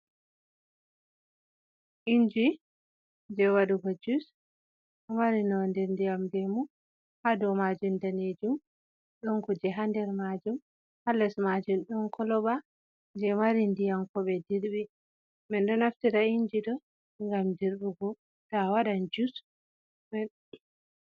Inji je waɗuugo jus, ɗo mari nonde ndiyam lemu, ha dou maajum danejum. Ɗon kuuje ha nder maajum halles maajum ɗon koloba je maari ndiyam ko ɓe dirɓi. Men ɗo naftira inji ɗo ngam dirɓugo to awaɗan juus.